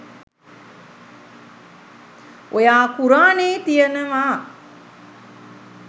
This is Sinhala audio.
ඔයා කුරානේ තියනවා